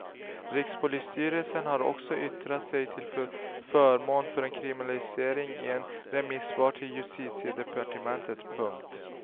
Rikspolisstyrelsen har också yttrat sig till förmån för en kriminalisering i ett remissvar till justitiedepartementet. punkt